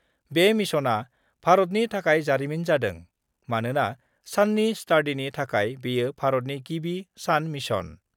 बे मिशनआ भारतनि थाखाय जारिमिन जादों, मानोना साननि स्टाडिनि थाखाय बेयो भारतनि गिबि सान मिशन।